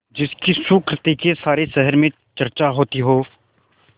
जिसकी सुकृति की सारे शहर में चर्चा होती हो